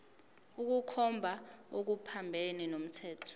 ukukhomba okuphambene nomthetho